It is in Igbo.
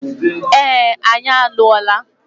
Ee, anyị alụrụla.